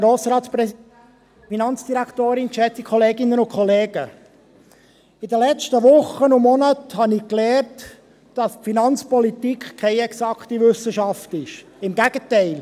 In den letzten Wochen und Monaten habe ich gelernt, dass Finanzpolitik keine exakte Wissenschaft ist – im Gegenteil.